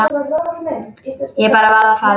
Ég bara varð að fara.